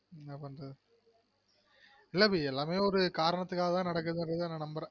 இல்ல அபி எல்லாமெ ஒரு காரணத்துகாக தான் நடக்குதுனு நான் நம்புறென்